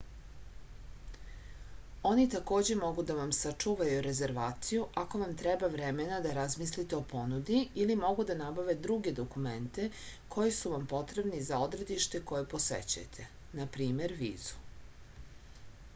они такође могу да вам сачувају резервацију ако вам треба времена да размислите о понуди или могу да набаве друге документе који су вам потребни за одредиште које посећујете нпр. визу